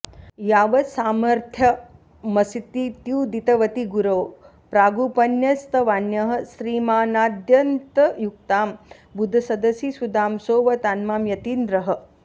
यावत्सामर्थ्यमस्तीत्युदितवति गुरौ प्रागुपन्यस्तवान्यः श्रीमानाद्यन्तयुक्तां बुधसदसि सुधां सोवतान्मां यतीन्द्रः